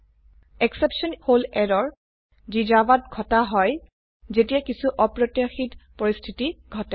exceptions হল এৰৰ যি জাভাত ঘটিত হয় যেতিয়া কিছু অপ্ৰত্যাশিত পৰিস্থিতি ঘটে